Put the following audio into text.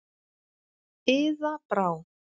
Iða Brá.